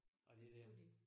Af det der